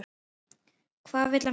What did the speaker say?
Hvað vill hann gera?